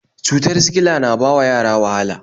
Cutar sikila na bawa yara wahala